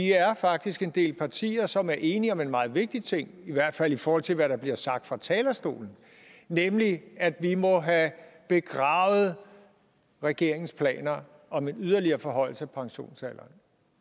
faktisk er en del partier som er enige om en meget vigtig ting i hvert fald i forhold til hvad der bliver sagt fra talerstolen nemlig at vi må have begravet regeringens planer om en yderligere forhøjelse af pensionsalderen